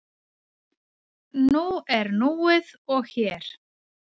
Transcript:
Nú er núið og hér.